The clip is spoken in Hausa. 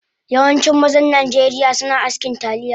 Yawancin mazan najeriya suna askin talliya